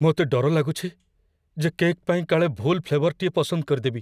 ମୋତେ ଡର ଲାଗୁଛି ଯେ କେକ୍ ପାଇଁ କାଳେ ଭୁଲ ଫ୍ଲେଭର୍‌ଟିଏ ପସନ୍ଦ କରିଦେବି!